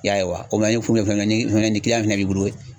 I y'a ye wa komi ni kiliyan fɛnɛ b'i bolo